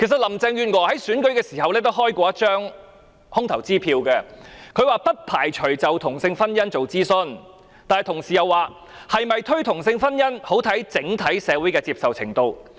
林鄭月娥在競選期間也開過一張空頭支票，她說不排除就同性婚姻進行諮詢，但同時又表示，是否推行同性婚姻，很視乎整體社會的接受程度。